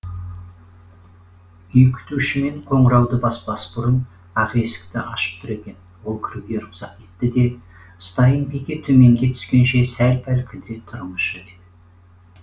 үй күтуші мен қоңырауды баспас бұрын ақ есікті ашып тұр екен ол кіруге рұқсат етті де стайн бике төменге түскенше сәл пәл кідіре тұрыңызшы деді